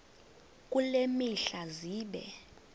kule mihla zibe